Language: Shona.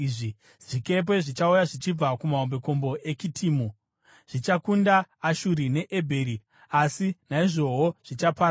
Zvikepe zvichauya zvichibva kumahombekombe eKitimu; zvichakunda Ashuri neEbheri, asi naizvowo zvichaparadzwa.”